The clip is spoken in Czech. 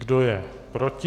Kdo je proti?